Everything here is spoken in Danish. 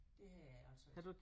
Det har jeg altså ikke